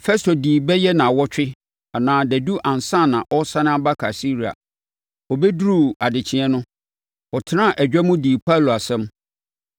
Festo dii bɛyɛ nnawɔtwe anaa dadu ansa na ɔresane aba Kaesarea. Ɔbɛduruu adekyeeɛ no, ɔtenaa adwa mu dii Paulo asɛm.